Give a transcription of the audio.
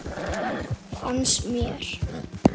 Fannst mér.